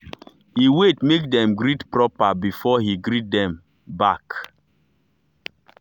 he wait make dem greet proper before he greet dem dem back.